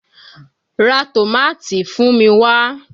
Ra tòmátì fún mi wá!